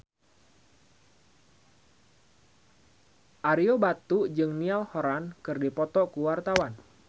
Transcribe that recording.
Ario Batu jeung Niall Horran keur dipoto ku wartawan